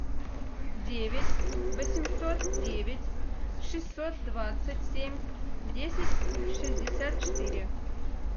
девять восемьсот девять шестьсот двадцать семь десять шестьдесят четыре